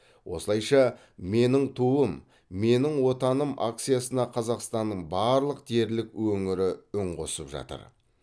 осылайша менің туым менің отаным акциясына қазақстанның барлық дерлік өңірі үн қосып жатыр